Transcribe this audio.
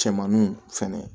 Cɛmannu fɛnɛ